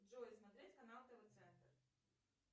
джой смотреть канал тв центр